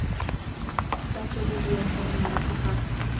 tla tswelediwa fela morago ga